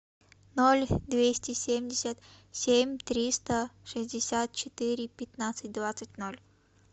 ноль двести семьдесят семь триста шестьдесят четыре пятнадцать двадцать ноль